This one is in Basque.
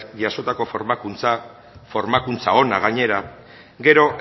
jasotako formakuntza formakuntza ona gainera gero